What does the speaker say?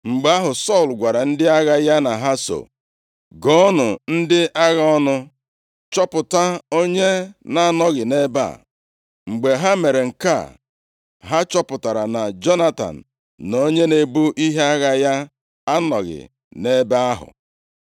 Mgbe ahụ, Sọl gwara ndị agha ya na ha so, “Gụọnụ ndị agha ọnụ, chọpụta onye na-anọghị nʼebe a.” Mgbe ha mere nke a, ha chọpụtara, na Jonatan na onye na-ebu ihe agha ya anọghị nʼebe ahụ.